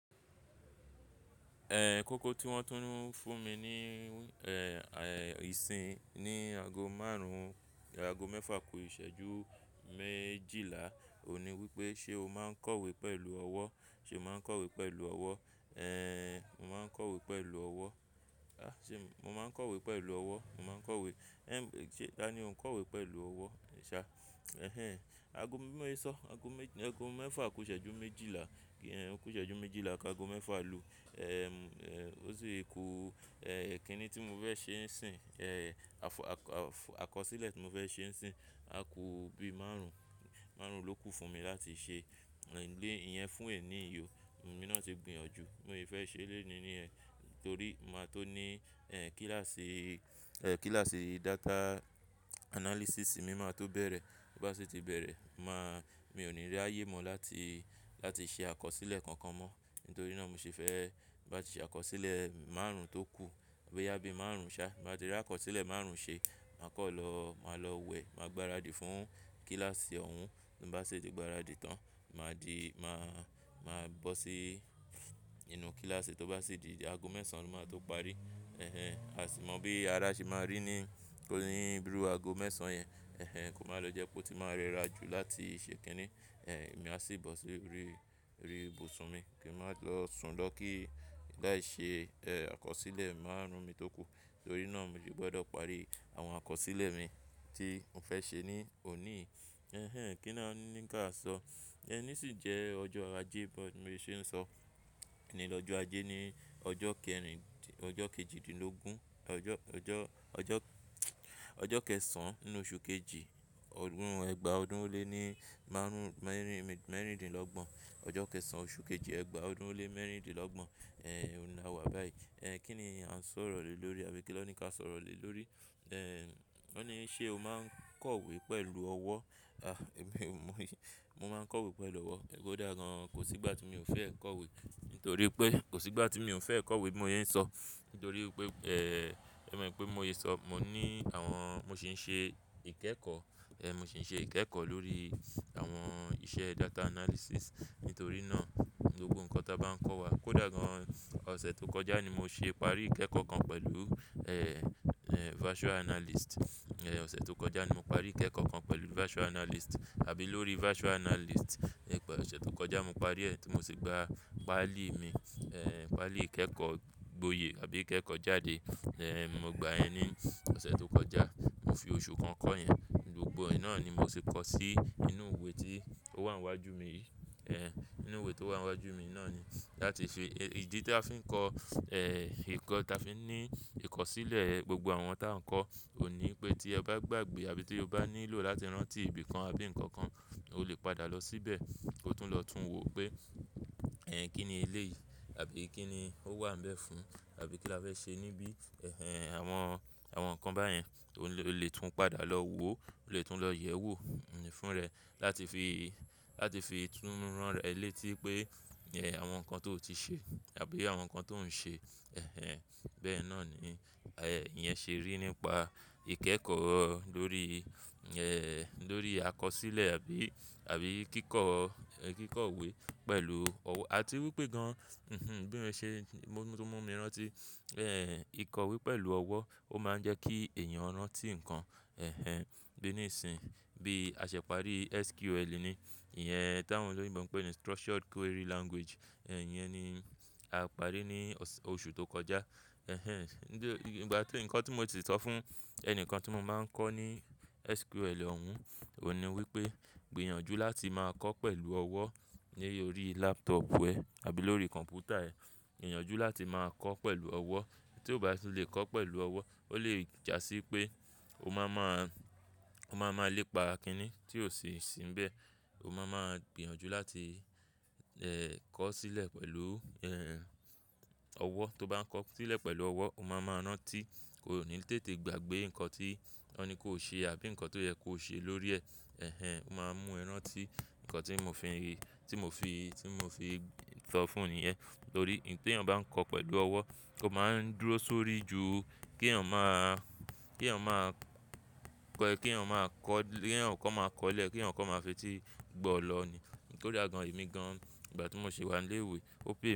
Kọ́ kọ́ tí wọ́n tún ń fún mi ní, ẹ́, ẹ́, ìsìn ní aago márùn-ún, aago mẹ́fa kó ìṣẹ́jú méjìlá òní wípé: "Ṣé o máa ń kọ̀wé pẹ̀lú ọwọ́? Ṣé o máa ń kọ̀wé pẹ̀lú ọwọ́?" mo máa ń kọ̀wé pẹ̀lú ọwọ́. Ṣé mo máa ń kọ̀wé pẹ̀lú ọwọ́? Mo máa ń kọ̀wé. Ṣé, ta ni mo ń kọ̀wé pẹ̀lú ọwọ́. Ẹhẹn. Aago mé-mo ń sọ aago mẹ́-aago mẹ́fa kó ìṣẹ́jú méjìlá, ìṣẹ́jú méjìlá ká aago mẹ́fa lu. Ó sì kù, ẹ́, ìkínni tí mo fẹ́ ṣe ń sìn. Àkọsílẹ̀ tí mo fẹ́ ṣe ń sìn, a kù bí márùn-ún, márùn-ún ló kù fún mi láti ṣe. Eyẹn fún ẹ ni yò. Òmi náà ti gbìyànjú. Mo ì fẹ́ ṣe eléni ni ẹ torí mo máa tó ní, ẹ́, kíláàsì, ẹ́, kíláàsì data analysis mi máa tó bẹ̀rẹ̀. Bí bá sì ti bẹ̀rẹ̀, màá mi ò ní rí ayé mọ́ láti, láti ṣe àkọsílẹ̀ kankan mọ́ nítorí náà mo ṣe fẹ́ bá ti ṣe àkọsílẹ̀ márùn-ún tó kù àbí yá bí márùn-ún ṣá. Bí mo bá ti rí àkọsílẹ̀ márùn-ún ṣe, màá kọ́ lọ, màá lọ wẹ̀, màá gbáradì fún kíláàsì ọ̀ún. Bí bá sì ti gbáradì tán, mà á di, mà á, mà á bó sí inú kíláàsì. Tó bá sì di aago mẹ́sàn-án ni wọ́n máa tó parí. A sì mọ bí ara ṣe máa rí ní, írú aago mẹ́sàn-án yẹn. Kò máa lọ jẹ́ pé ó ti máa rẹra jù láti ṣe kínni. Èmi á sì bọ́ sí orí, orí ibùsùn mi kí ẹ má lọ sùn lọ kí n lè ṣe, ẹ́, àkọsílẹ̀ márùn-ún mi tó kù. Nítorí náà mo sì gbọ́dọ̀ parí àwọn àkọsílẹ̀ mi tí mò ń fẹ́ ṣe ní òní. Kí ni wọ́n ní kí a sọ? Ẹni sì jẹ́ ọjọ́ ajé bí mo ṣe ń sọ. Ni lọ́jọ́ ajé ni ọjọ́ kẹrin, ọjọ́ kejìdínlógún, ọjọ́, ọjọ́, ọjọ́, ọjọ́ kẹsàn-án nínú oṣù kejì, ọdún Ẹgba ọdún ó lé ní márùn-ún mẹ́rin-dín-lọ́gbọ̀n. Ọjọ́ kẹsàn-án oṣù kejì Ẹgba ọdún ó lé mẹ́rin-dín-lọ́gbọ̀n. Ẹ̀, òní la wà báyìí. Kí ni a ń sọ̀rọ̀ lè lórí i àbí kí ló ní ká sọ̀rọ̀ lè lórí? Wọ́n ní: "Ṣé o máa ń kọ̀wé pẹ̀lú ọwọ́?" mo yé, mo máa ń kọ̀wé pẹ̀lú ọwọ́. Kódà gan kò sí ìgbà tí mi ò fẹ́ kọ̀wé nítorí pé kò sí ìgbà tí mi ò fẹ́ kọ̀wé. Mo yẹ ń sọ nítorí pé, mọ̀ pé mo yẹ ń sọ. Mo ní àwọn, mo sì ń ṣe ìkẹ́kọ̀. Ẹ̀, mo sì ń ṣe ìkẹ́kọ̀ lórí àwọn iṣẹ́ data analysis. Nítorí náà gbogbo nǹkan tí a bá ń kọ́ wa. Kódà gan ọ̀sẹ̀ tó kọjá ni mo ṣe parí ìkẹ́kọ̀ kan pẹ̀lú, virtual analyst. Ẹ̀, ọ̀sẹ̀ tó kọjá ni mo parí ìkẹ́kọ̀ kan pẹ̀lú virtual analyst àbí lórí virtual analyst. Ọ̀sẹ̀ tó kọjá mo parí ẹ́ tí mo sì gba páálì mi. Páálì ìkẹ́kọ̀ gboyè àbí ìkẹ́kọ̀ jáde. Mo gba ẹ ní ọ̀sẹ̀ tó kọjá. Mo fi oṣù kan kọ́ yen Gbogbo ìná ni mo sì kọ́ sí inú ìwé tí ó wà níwájú mi yìí. Inú ìwé tó wà níwájú mi náà ni láti fi-- ìdí tí a fi ń kọ, ìkọ́ tí a fi ń ní ìkọ̀sílẹ̀ gbogbo àwọn tí a ń kọ òní pé tí ẹ bá gbàgbé àbí tí o bá nílò láti rántí ibìkan àbí ǹkan kan, o lè padà lọ síbẹ̀. Ó tún lọ tún wo pé, ẹ́, kí ni eléyìí àbí kí ni ó wà ń bẹ̀ fún àbí kí la fẹ́ ṣe níbí. Àwọn, àwọn ǹkan báyẹn o lè tún padà lọ wo, o lè tún lọ yẹ̀ ẹ́ wò fún ẹ láti fi, láti fi tún rán ẹ létí pé, ẹ́, àwọn ǹkan tó ti ṣe àbí àwọn ǹkan tó ń ṣe. Bẹ́ẹ̀ náà ni, ẹ́, ìyẹn ṣe rí nípa ìkẹ́kọ̀ọ́ lórí, ẹ́, lórí àkọsílẹ̀ àbí, àbí kíkọ̀, kíkọ̀wé pẹ̀lú ọwọ́. A ti rí pé gan, bí mo ṣe, mo tó mú mi rántí, ẹ́, ìkọ̀wé pẹ̀lú ọwọ́ ó máa ń jẹ́ kí ẹ̀yàn rántí ǹkan. Bí ní ìsìn bí a ṣe parí SQL ni. Ìyẹn táwọn ló ń bẹ̀ wọ́n pè ní structured query language. Ìyẹn ni a parí ní ọ̀sẹ̀, oṣù tó kọjá. Ìgbà tí ǹkan tí mo ti sọ fún ẹni kan tí mo máa ń kọ́ ní SQL òun òní wípé gbìyànjú láti máa kọ́ pẹ̀lú ọwọ́ lórí laptop ẹ àbí lórí kọ̀m̀pútà ẹ. Yànjú láti máa kọ́ pẹ̀lú ọwọ́. Tí ó bá sì lè kọ́ pẹ̀lú ọwọ́ ó lè jásí pé o máa má, o máa ma lépa kínni tí ò sì ń síbẹ̀. O máa ma gbìyànjú láti, kọ̀sílẹ̀ pẹ̀lú, ọwọ́. Tó bá ń kọ̀sílẹ̀ pẹ̀lú ọwọ́, o máa ma rántí. O ò ní tètè gbàgbé ǹkan tí wọ́n ní kó ṣe àbí ǹkan tó yẹ kó ṣe lórí ẹ. Ó máa ń mú ẹ rántí ǹkan tí mo fi, tí mo fi, tí mo fi sọ fún ẹni ẹ̀ torí tí ẹ̀yàn bá ń kọ pẹ̀lú ọwọ́, ó máa ń dúró sórí ju kí ẹ̀yàn má, kí ẹ̀yàn má kọ́, kí ẹ̀yàn kọ́ máa kọ́lẹ̀, kí ẹ̀yàn kọ́ máa fetí gbọ́ ọ̀lọ ni. Nítorí a gan ìmí gan ìgbà tí mo ṣe wà ní ilé ìwé o pay.